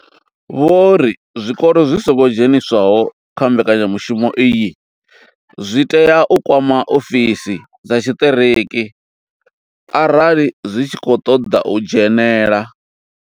Vho ri zwikolo zwi songo dzheniswaho kha mbekanyamushumo iyi zwi tea u kwama ofisi dza tshiṱiriki arali zwi tshi khou ṱoḓa u dzhenela.